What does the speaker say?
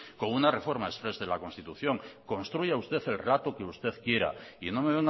con una reforma express de la constitución construya usted el relato que usted quiera y no me